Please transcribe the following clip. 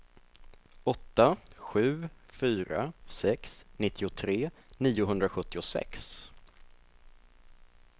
åtta sju fyra sex nittiotre niohundrasjuttiosex